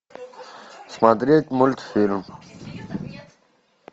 смотреть мультфильм